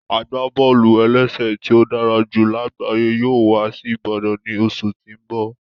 Agbábọ́ọlù-ẹlẹ́sẹ̀ tí ó dára jù lágbayé yóò wá sí Ìbàdàn ní oṣù tí n bọ